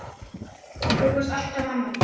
Þú varst alltaf amma mín.